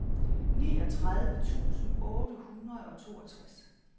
niogtredive tusind otte hundrede og toogtres